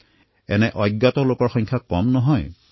আৰু এনেকুৱা স্বল্পখ্যাত নায়কৰ সংখ্যা কম নহয়